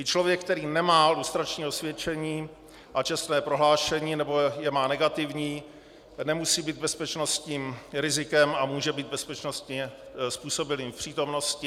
I člověk, který nemá lustrační osvědčení a čestné prohlášení, nebo je má negativní, nemusí být bezpečnostním rizikem a může být bezpečnostně způsobilým v přítomnosti.